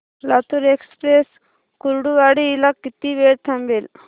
Latur express Kurduwadi ला किती वेळ थांबते